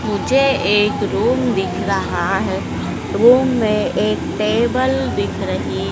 मुझे एक रूम दिख रहा है रूम में एक टेबल दिख रही--